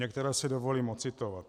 Některé si dovolím ocitovat.